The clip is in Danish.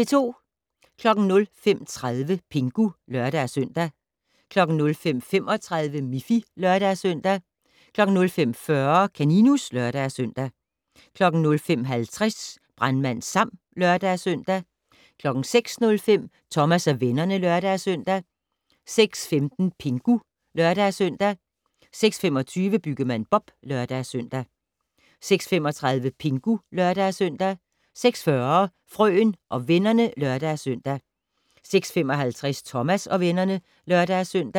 05:30: Pingu (lør-søn) 05:35: Miffy (lør-søn) 05:40: Kaninus (lør-søn) 05:50: Brandmand Sam (lør-søn) 06:05: Thomas og vennerne (lør-søn) 06:15: Pingu (lør-søn) 06:25: Byggemand Bob (lør-søn) 06:35: Pingu (lør-søn) 06:40: Frøen og vennerne (lør-søn) 06:55: Thomas og vennerne (lør-søn)